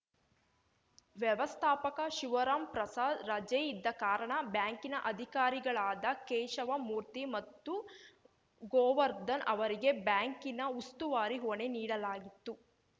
ವ್ಯವಸ್ಥಾಪಕ ಶಿವರಾಮ್‌ ಪ್ರಸಾದ್‌ ರಜೆ ಇದ್ದ ಕಾರಣ ಬ್ಯಾಂಕಿನ ಅಧಿಕಾರಿಗಳಾದ ಕೇಶವಮೂರ್ತಿ ಮತ್ತು ಗೋವರ್ಧನ್‌ ಅವರಿಗೆ ಬ್ಯಾಂಕಿನ ಉಸ್ತುವಾರಿ ಹೊಣೆ ನೀಡಲಾಗಿತ್ತು